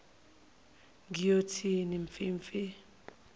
ngiyothi mfi mfi